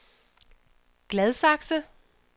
Gladsaxe